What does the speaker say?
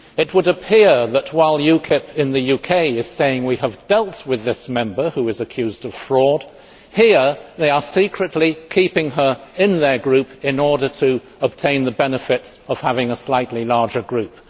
It would appear that while UKIP in the UK is saying they have dealt with this Member who is accused of fraud, here they are secretly keeping her in their group in order to obtain the benefits of having a slightly larger group.